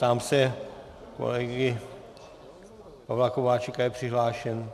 Ptám se kolegy Pavla Kováčika - je přihlášen?